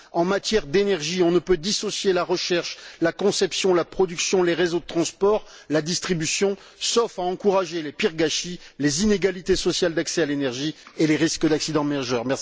En matière d'énergie, on ne peut dissocier la recherche, la conception, la production, les réseaux de transport, la distribution, sauf à encourager les pires gâchis, les inégalités sociales d'accès à l'énergie et les risques d'accidents majeurs.